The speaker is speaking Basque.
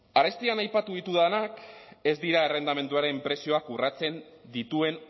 arestian aipatu ditudanak ez dira errentamenduaren prezioak urratzen dituen